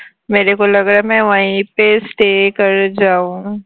stay